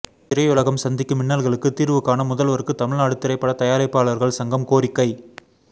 திரையுலகம் சந்திக்கும் இன்னல்களுக்கு தீர்வுகான முதல்வருக்கு தமிழ்நாடு திரைப்படத் தயாரிப்பாளர்கள் சங்கம் கோரிக்கை